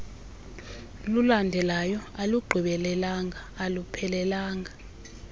lulandelayo alugqibelelanga aluphelelanga